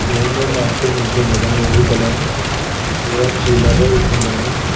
ಮುಂದೊಂದು ಆಟೋ ನಿಂತಿದ್ದಾದ ನೀಲಿ ಕಲರ್ ದು ಅದರೊಳಗ ಚೀಲಗಳು ಇಟ್ಟಿದ್ದದ.